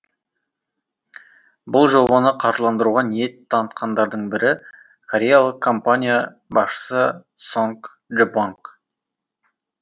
бұл жобаны қаржыландыруға ниет танытқандардың бірі кореялық компания басшысы сонг лебонг